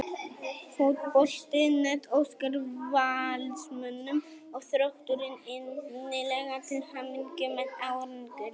Fótbolti.net óskar Valsmönnum og Þrótturum innilega til hamingju með árangurinn.